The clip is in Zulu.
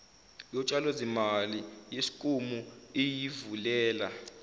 yotshalozimali yeskimu iyivulela